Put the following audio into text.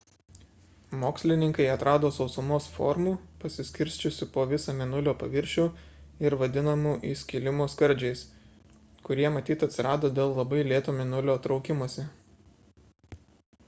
mokslininkai atrado sausumos formų pasiskirsčiusių po visą mėnulio paviršių ir vadinamų įskilimo skardžiais kurie matyt atsirado dėl labai lėto mėnulio traukimosi